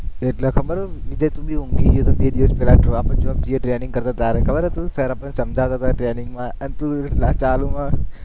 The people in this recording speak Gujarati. એ પેલા ખબર હોય? training કરવા ત્યારે ખબર હતી, sir આપણને સમજાવતા તા training માં એમ ચાલુમાં